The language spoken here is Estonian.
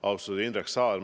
Austatud Indrek Saar!